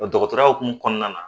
Dɔkɔtɔrɔya hokumu kɔnɔna na